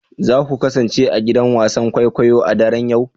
Za ku kasance a gidan wasan kwaikwayo a daren yau